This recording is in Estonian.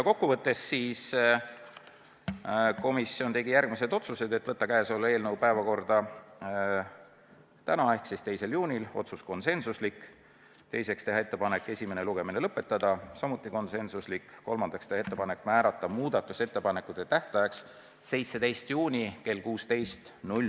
Kokkuvõttes komisjon tegi järgmised konsensuslikud otsused: võtta eelnõu päevakorda tänaseks ehk siis 2. juuniks, teiseks, teha ettepanek esimene lugemine lõpetada ja kolmandaks, teha ettepanek määrata muudatusettepanekute tähtajaks 17. juuni kell 16.